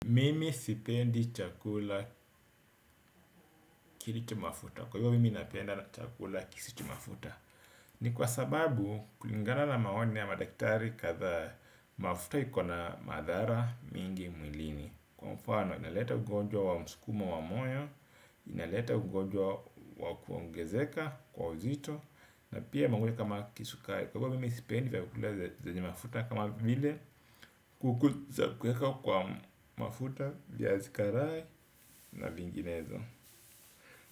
Mimi sipendi chakula kilicho mafuta, kwa hivyo mimi napenda chakula kisicho mafuta. Ni kwa sababu kulingana na maoni ya madaktari kadha mafuta ikona madhara mingi mwilini, kwa mfano inaleta ugonjwa wa msukumo wa moyo. Inaleta ugonjwa wa kuongezeka kwa uzito. Na pia mangojwa kama kisukari, kwa hivyo mimi sipendi vyakula zenye mafuta kama vile kuku za kweka kwa mafuta, viazi karai na vinginezo.